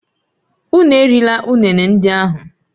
Unu erila ụnene ndị ahụ!